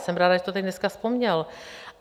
Jsem ráda, že to tady dneska vzpomněl.